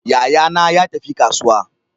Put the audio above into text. Yayana ya tafi kasuwa.